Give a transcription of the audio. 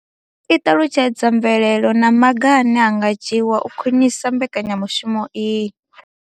I ṱalutshedza mvelelo na maga ane a nga dzhiwa u khwinisa mbekanyamushumo iyi.